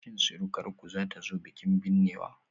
Shin surukarku zata zo bikin binnewa?